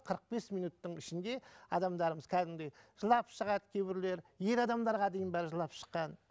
қырық бес минуттың ішінде адамдарымыз кәдімгідей жылап шығады кейбіреулер ер адамдарға дейін бар жылап шыққан